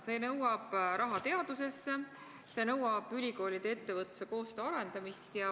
See nõuab raha teadusesse, see nõuab ülikoolide ja ettevõtluse koostöö arendamist.